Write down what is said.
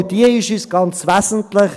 Auch diese ist für uns ganz wesentlich.